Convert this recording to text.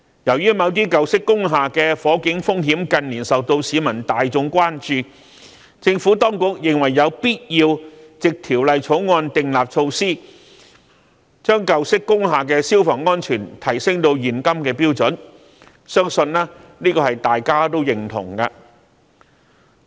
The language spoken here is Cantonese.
由於某些舊式工廈的火警風險近年受到市民大眾關注，政府當局認為有必要藉《條例草案》訂立措施，將舊式工廈的消防安全提升至現今的標準，相信這是大家也認同的。